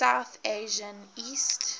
south asian east